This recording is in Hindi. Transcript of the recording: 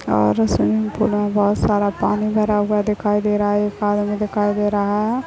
और स्विमिंग पूल में बहोत पानी भरा हुआ दिखाई दे रहा है एक पानी में दिखाई दे रहा है ।